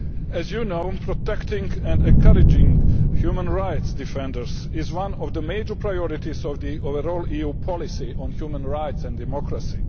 As you know, protecting and encouraging human rights defenders is one of the major priorities of the overall EU policy on human rights and democracy.